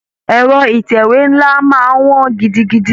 Ẹ̀rọ Ìtẹ̀wé ńlá máa wọn gidigidi